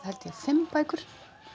held fimm bækur